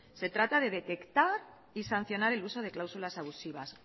se trata de detectar y sancionar el uso de cláusulas abusivas